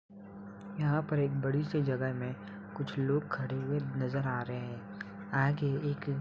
यहां पर एक बड़ी सी जगह में कुछ लोग खड़े हुए नज़र आ रहे हैं। आगे एक --